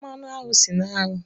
Mmanụ aṅụ si na aṅụ.